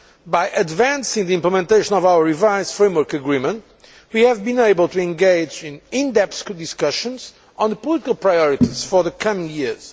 By advancing the implementation of our revised Framework Agreement, we have been able to engage in in depth discussions on the political priorities for the coming years.